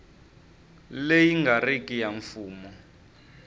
leyi nga riki ya mfumo